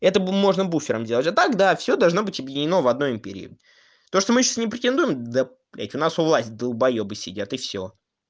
это бы можно буфером делать а так да всё должно быть объединено в одной империи то что мы сейчас не претендуем да блядь у нас у власти далбоёбы сидят и всё